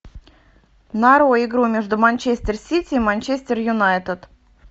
нарой игру между манчестер сити и манчестер юнайтед